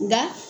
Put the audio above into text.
Nka